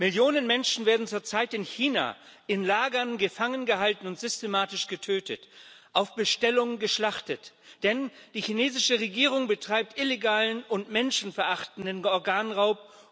Millionen Menschen werden zurzeit in China in Lagern gefangen gehalten und systematisch getötet, auf Bestellung geschlachtet, denn die chinesische Regierung betreibt illegalen und menschenverachtenden Organraub.